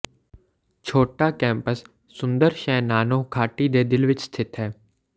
ਛੋਟਾ ਕੈਂਪਸ ਸੁੰਦਰ ਸ਼ੈਨਾਨਹੋ ਘਾਟੀ ਦੇ ਦਿਲ ਵਿਚ ਸਥਿਤ ਹੈ